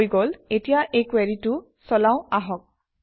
হৈ গল এতিয়া এই কুৱেৰিটো চলাওঁ আহক